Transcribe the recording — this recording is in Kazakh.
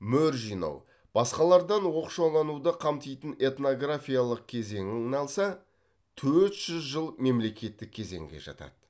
мөр жинау басқалардан оқшаулануды қамтитын этнографиялық кезеңін алса төрт жүз жыл мемлекеттік кезеңге жатады